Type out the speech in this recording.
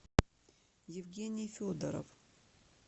евгений федоров